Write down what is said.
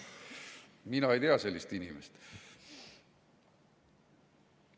Mina ei tea sellist inimest.